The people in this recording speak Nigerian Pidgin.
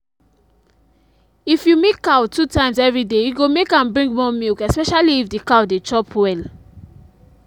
if you milk cow two times every day e go make am bring more milk especially if the cow dey chop well